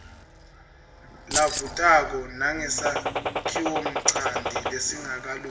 lavutako nangesakhiwonchanti lesingakalungi